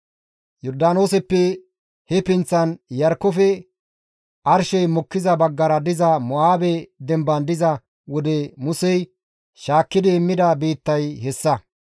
Yordaanooseppe he pinththan, Iyarkkofe arshey mokkiza baggara diza Mo7aabe demban diza wode Musey shaakkidi immida biittay hessa.